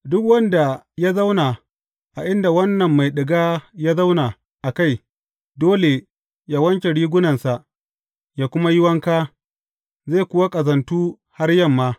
Duk wanda ya zauna a inda wannan mai ɗiga ya zauna a kai, dole yă wanke rigunansa yă kuma yi wanka, zai kuwa ƙazantu har yamma.